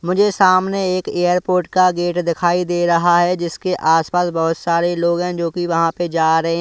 मुझे सामने एक एयरपोर्ट का गेट दिखाई दे रहा है जिसके आसपास बहुत सारे लोग है जो की वहां पे जा रहे है।